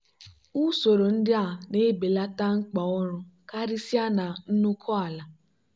usoro ndị a na-ebelata mkpa ọrụ karịsịa na nnukwu ala.